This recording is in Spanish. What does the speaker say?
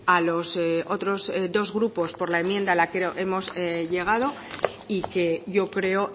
a los otros dos grupos por la enmienda a la que hemos llegado y que yo creo